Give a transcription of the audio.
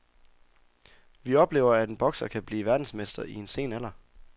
Vi oplever, at en bokser kan bliver verdensmester i en sen alder.